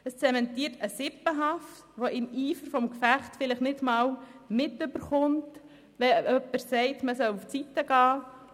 Es zementiert eine Form von Sippenhaft, wenn man einfach mitschuldig wird, weil man im Eifer des Gefechts nicht mitbekommt, dass jemand sagt, man solle zur Seite gehen.